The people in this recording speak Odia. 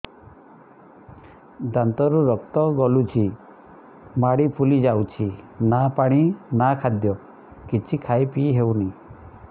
ଦାନ୍ତ ରୁ ରକ୍ତ ଗଳୁଛି ମାଢି ଫୁଲି ଯାଉଛି ନା ପାଣି ନା ଖାଦ୍ୟ କିଛି ଖାଇ ପିଇ ହେଉନି